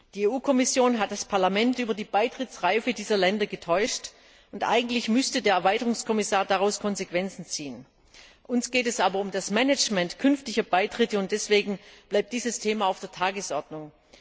Die EU Kommission hat das Parlament über die Beitrittsreife dieser Länder getäuscht, und eigentlich müsste der Erweiterungskommissar daraus Konsequenzen ziehen. Uns geht es aber um das Management künftiger Beitritte, und deswegen bleibt dieses Thema auf der Tagesordnung.